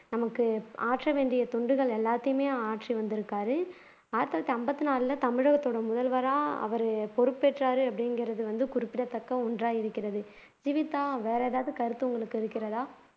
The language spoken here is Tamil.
நமக்கு ஆற்ற வேண்டிய தொண்டுகள் எல்லாத்தையுமே ஆற்றி வந்திருக்கிறாரு ஆயிரத்து தொள்ளாயிரத்து அம்பத்து நாலுல தமிழகத்தோட முதல்வரா அவர் பொறுப்பேற்றாரு அப்படிங்கிறது வந்து குறிப்பிடத்தக்க ஒன்றா இருக்கிறது ஜீவிதா வேற ஏதாவது கருத்து உங்களுக்கு இருக்கிறதா